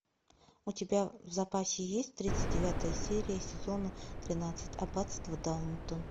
у тебя в запасе есть тридцать девятая серия сезона тринадцать аббатство даунтон